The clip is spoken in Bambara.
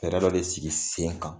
Fɛrɛ dɔ de sigi sen kan